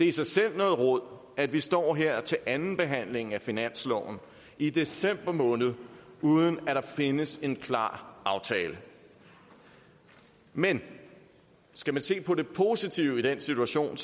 i sig selv noget rod at vi står her til andenbehandlingen af finansloven i december måned uden at der findes en klar aftale men skal man se på det positive i den situation